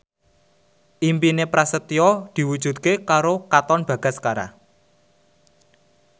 impine Prasetyo diwujudke karo Katon Bagaskara